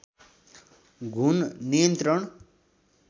घुन नियन्त्रण